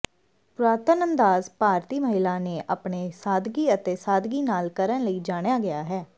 ਪੁਰਾਤਨ ਅੰਦਾਜ਼ ਭਾਰਤੀ ਮਹਿਲਾ ਨੇ ਆਪਣੇ ਸਾਦਗੀ ਅਤੇ ਸਾਦਗੀ ਨਾਲ ਕਰਨ ਲਈ ਜਾਣਿਆ ਗਿਆ ਹੈ